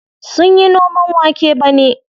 Sunyi noman wake bane.